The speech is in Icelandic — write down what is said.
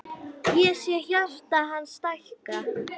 Ég sé hjarta hans stækka.